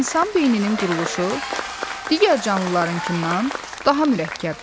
İnsan beyninin quruluşu digər canlılarınkından daha mürəkkəbdir.